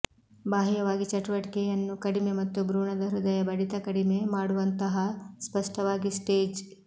ಬಾಹ್ಯವಾಗಿ ಚಟುವಟಿಕೆಯನ್ನು ಕಡಿಮೆ ಮತ್ತು ಭ್ರೂಣದ ಹೃದಯ ಬಡಿತ ಕಡಿಮೆ ಮಾಡುವಂತಹಾ ಸ್ಪಷ್ಟವಾಗಿ ಸ್ಟೇಜ್